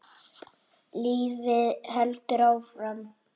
Lífið heldur áfram.